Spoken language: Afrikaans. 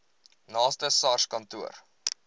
naaste sars kantoor